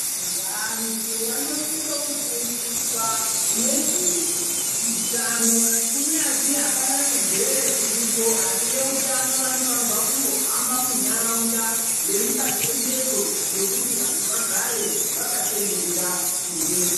Vantu vanosise kufundiswa nezveutano kunyazi apana chirwere chiripo asi veutano vanofanire kumbohamba muntaraunda veipa chenjedzo yekuti vantu vagare vakachenjerera zvirwere.